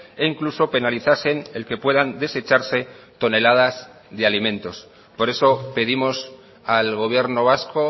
e incluso penalizasen el que puedan desecharse toneladas de alimentos por eso pedimos al gobierno vasco